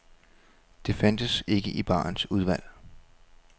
Det fandtes ikke i barens udvalg.